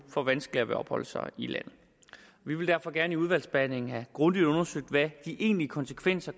får vanskeligere ved opholde sig i landet vi vil derfor gerne i udvalgsbehandlingen have grundigt undersøgt hvad de egentlige konsekvenser